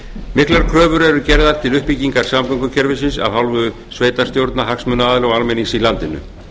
miklar kröfur eru gerðar til uppbyggingar samgöngukerfisins af hálfu sveitarstjórna hagsmunaaðila og almennings í landinu